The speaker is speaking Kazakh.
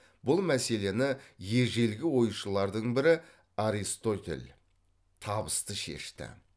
бұл мәселені ежелгі ойшылардың бірі аристотель табысты шешті